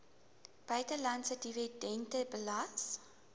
buitelandse dividende belas